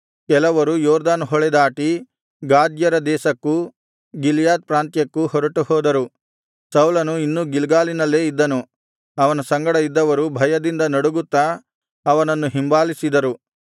ಕೆಲವರು ಯೊರ್ದನ್ ಹೊಳೆದಾಟಿ ಗಾದ್ಯರ ದೇಶಕ್ಕೂ ಗಿಲ್ಯಾದ್ ಪ್ರಾಂತ್ಯಕ್ಕೂ ಹೊರಟುಹೋದರು ಸೌಲನು ಇನ್ನೂ ಗಿಲ್ಗಾಲಿನಲ್ಲೇ ಇದ್ದನು ಅವನ ಸಂಗಡ ಇದ್ದವರು ಭಯದಿಂದ ನಡುಗುತ್ತ ಅವನನ್ನು ಹಿಂಬಾಲಿಸಿದರು